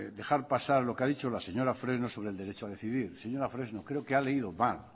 dejar pasar lo que ha dicho la señora fresno sobre el derecho a decidir señora fresno creo que ha leído mal